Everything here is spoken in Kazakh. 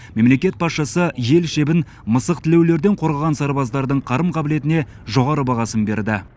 мемлекет басшысы ел шебін мысықтілеулілерден қорғаған сарбаздардың қарым қабілетіне жоғары бағасын берді